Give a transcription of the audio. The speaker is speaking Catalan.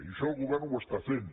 i això el govern ho està fent